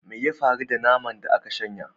Me ya faru da naman da aka shanya?